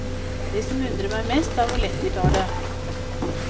Det som undrer meg mest er hvor lett de tar det.